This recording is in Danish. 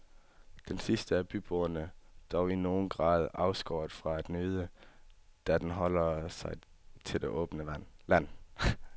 Den sidste er byboerne dog i nogen grad afskåret fra at nyde, da den holder sig til det åbne land.